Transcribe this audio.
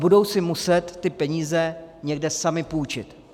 Budou si muset ty peníze někde sami půjčit.